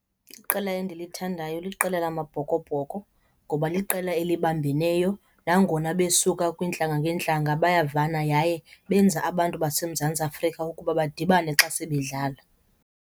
Iqela endilithandayo liqela lamaBhokobhoko ngoba liqela elibambeneyo. Nangona besuka kwiintlanga ngeentlanga, bayavana yaye benza abantu baseMzantsi Afrika ukuba badibane xa sebedlala.